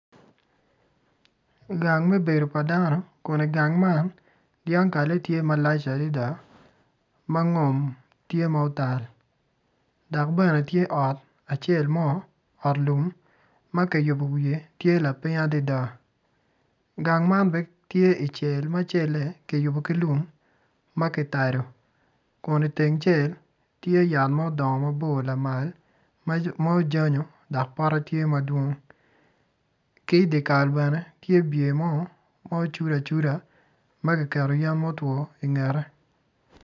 Gang me bedo padano, kodi gang man dyankale tye malac adada mangom tye ma otal dok bene tye ot acel mo ot lum makiyubo wiye tye laping adada gang bene tye i cel ma cel man kiyubo ki lum makitado kun i teng cel tye yat ma odongo mabor lamal ma ojanyo dok pote tye madwong ki dyakal bene tye biye mo ma ocudo acuda magiketo yen motwo ingete.